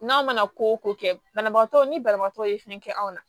N'a mana ko o ko kɛ banabagatɔ ni banabagatɔ ye fɛn kɛ anw na